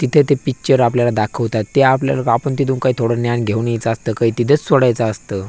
तिथे ते पिक्चर आपल्याला दाखवतात ते आपल्याला आपण तिथून काही थोड ज्ञान घेऊन यायच असतं काही तिथंच सोडायच असतं.